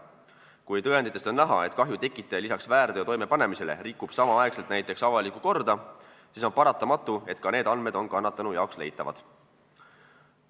Kui tõenditest on näha, et kahju tekitaja peale väärteo toimepanemise rikub samal ajal näiteks avalikku korda, siis on paratamatu, et ka need andmed on kannatanule leitavad.